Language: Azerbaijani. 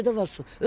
Küçədə var su.